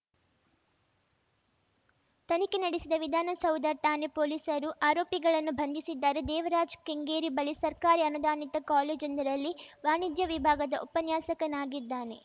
ತನಿಖೆ ನಡೆಸಿದ ವಿಧಾನಸೌಧ ಠಾಣೆ ಪೊಲೀಸರು ಆರೋಪಿಗಳನ್ನು ಬಂಧಿಸಿದ್ದಾರೆ ದೇವರಾಜ್‌ ಕೆಂಗೇರಿ ಬಳಿ ಸರ್ಕಾರಿ ಅನುದಾನಿತ ಕಾಲೇಜೊಂದರಲ್ಲಿ ವಾಣಿಜ್ಯ ವಿಭಾಗದ ಉಪನ್ಯಾಸಕನಾಗಿದ್ದಾನೆ